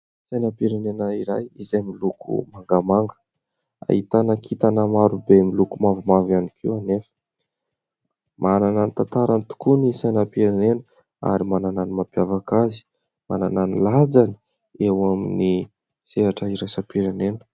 Sainam-pirenena iray izay miloko mangamanga. Ahitana kintana maro be miloko mavomavo ihany koa anefa. Manana ny tantarany tokoa ny sainam-pirenena ary manana ny mampiavaka azy, manana ny lanjany eo amin'ny sehatra iraisam-pirenena.